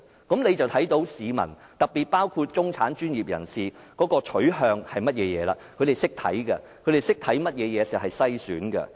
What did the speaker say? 這樣就看到市民，特別包括中產、專業人士的取向是甚麼，他們懂得看甚麼是篩選。